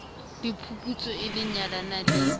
le phuputso e nyalanang le